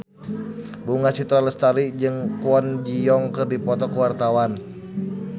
Bunga Citra Lestari jeung Kwon Ji Yong keur dipoto ku wartawan